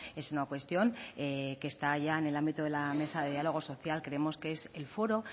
es una cuestión que está ya en el ámbito de la mesa de diálogo social creemos que es el foro